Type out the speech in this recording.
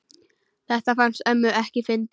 Þetta fannst ömmu ekki fyndið.